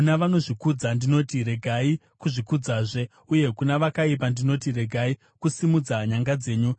Kuna vanozvikudza ndinoti, ‘Regai kuzvikudzazve,’ uye kuna vakaipa, ndinoti, ‘Regai kusimudza nyanga dzenyu.